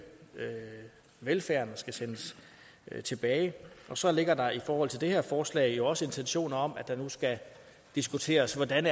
velfærden og sendes tilbage og så ligger der i forhold til det her forslag også intentioner om at det nu skal diskuteres hvordan